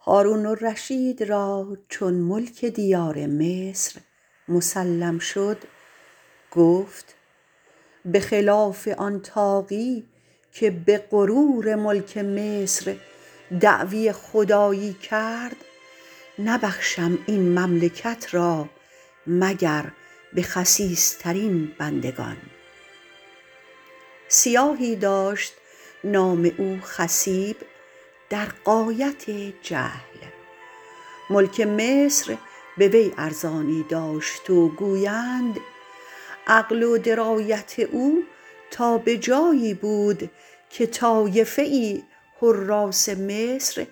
هارون الرشید را چون ملک دیار مصر مسلم شد گفت به خلاف آن طاغی که به غرور ملک مصر دعوی خدایی کرد نبخشم این مملکت را مگر به خسیس ترین بندگان سیاهی داشت نام او خصیب در غایت جهل ملک مصر به وی ارزانی داشت و گویند عقل و درایت او تا به جایی بود که طایفه ای حراث مصر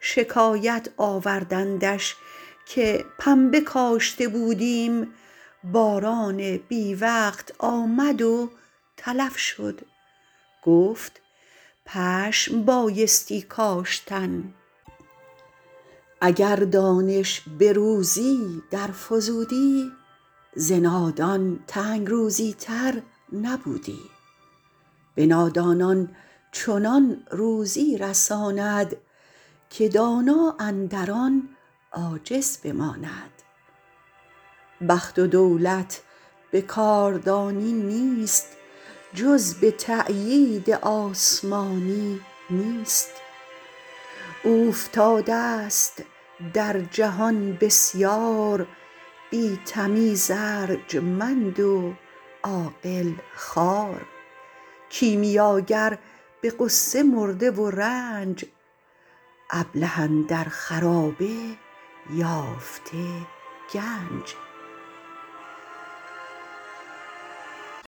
شکایت آوردندش که پنبه کاشته بودیم باران بی وقت آمد و تلف شد گفت پشم بایستی کاشتن اگر دانش به روزی در فزودی ز نادان تنگ روزی تر نبودی به نادانان چنان روزی رساند که دانا اندر آن عاجز بماند بخت و دولت به کاردانی نیست جز به تأیید آسمانی نیست اوفتاده ست در جهان بسیار بی تمیز ارجمند و عاقل خوار کیمیاگر به غصه مرده و رنج ابله اندر خرابه یافته گنج